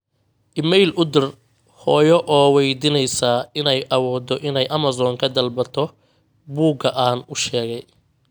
iimayl u dir hooyo oo waydiinaysa inay awoodo inay amazon ka dalbato buuga aan u sheegay